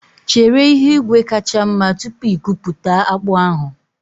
Chere ihu igwe kacha mma tupu ikuputa akpu ahụ